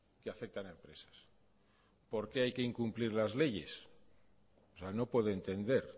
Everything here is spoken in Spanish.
que afectan a empresas por qué hay que incumplir las leyes o sea no puedo entender